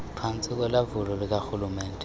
phantsi kolawulo lukarhulumente